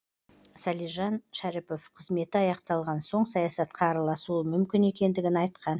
сәлижан шәріпов қызметі аяқталған соң саясатқа араласуы мүмкін екендігін айтқан